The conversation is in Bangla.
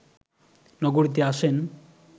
নগরীতে আসেন